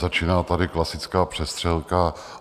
Začíná tady klasická přestřelka.